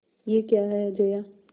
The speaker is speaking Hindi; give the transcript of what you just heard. यह क्या है जया